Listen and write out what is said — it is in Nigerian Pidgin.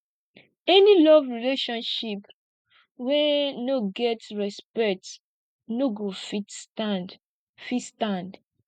any love relationship wey no get respect no go fit stand fit stand